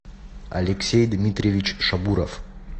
алексей дмитриевич шабуров